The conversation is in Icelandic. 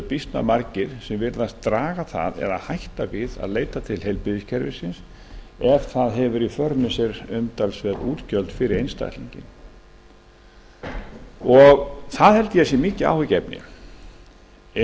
býsna margir virðast draga það eða hætta jafnvel við að leita til heilbrigðiskerfisins ef það hefur í för með sér umtalsverð útgjöld fyrir einstaklinginn það held